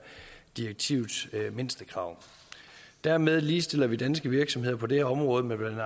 direktivets mindstekrav dermed ligestiller vi danske virksomheder på det område med blandt